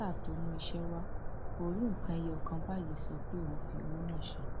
esther tó mú iṣẹ wa kò rí nǹkan ẹyọ kan báyìí sọ pé òun fi owó náà ṣe